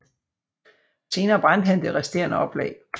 Senere brændte han det resterende oplag